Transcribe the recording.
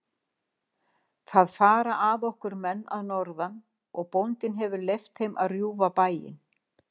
Það fara að okkur menn að norðan og bóndinn hefur leyft þeim að rjúfa bæinn.